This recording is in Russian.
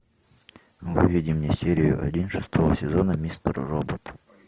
выведи мне серию один шестого сезона мистер робот